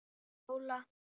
Og Lola.